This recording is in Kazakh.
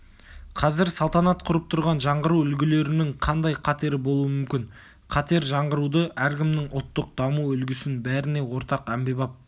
қазір салтанат құрып тұрған жаңғыру үлгілерінің қандай қатері болуы мүмкін қатер жаңғыруды әркімнің ұлттық даму үлгісін бәріне ортақ әмбебап